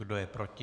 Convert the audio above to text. Kdo je proti?